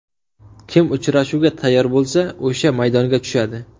Kim uchrashuvga tayyor bo‘lsa o‘sha maydonga tushadi.